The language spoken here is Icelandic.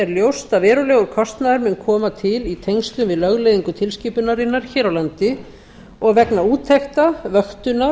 ljóst að verulegur kostnaður mun koma til í tengslum við lögleiðingu tilskipunarinnar hér á landi og vegna úttekta vöktunar